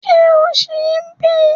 Ṣé o ṣì ń bí?